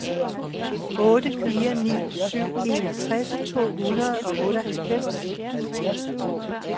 otte fire ni syv enogtres to hundrede og otteoghalvfems